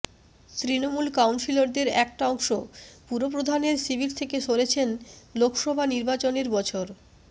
তৃণমূল কাউন্সিলরদের একটা অংশ পুরপ্রধানের শিবির থেকে সরেছেন লোকসভা নির্বাচনের বছর